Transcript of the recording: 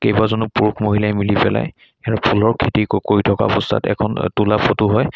কেইবাজনো পুৰুষ মহিলাই মিলি পেলাই ইয়াত ফুলৰ খেতি ক কৰি থকা অৱস্থাত এখন তোলা ফটো হয়।